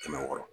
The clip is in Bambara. Kɛmɛ wɔɔrɔ